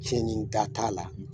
Cɛn ɲin ta t'a la